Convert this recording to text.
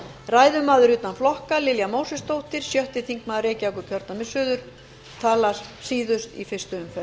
ræðumaður utan flokka lilja mósesdóttir sjötti þingmaður reykjavíkurkjördæmis suður talar síðust í fyrstu umferð